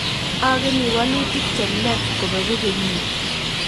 Ageni walutik chemyach kobegu kenyiit